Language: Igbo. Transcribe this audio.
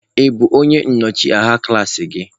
Ị bụ onye nnọchi anya klaasị gị?